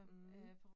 Mh